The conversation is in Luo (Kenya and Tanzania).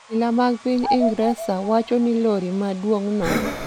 Obila mag piny Ingresa wacho ni lori maduong'no